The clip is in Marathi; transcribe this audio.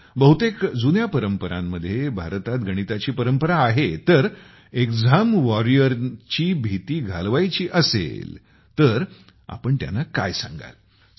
बहुतेक जुन्या परंपरांमध्ये भारतात गणिताची परंपरा आहे तर एक्झाम वॉरियर ना भीती घालवायची असेल तर आपण काय सांगाल त्यांना